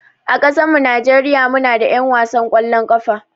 A ƙasan mu Nijeriya muna da 'yan wasan kwallon ƙafa